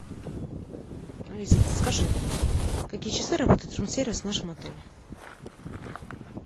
алиса подскажи в какие часы работает рум сервис в нашем отеле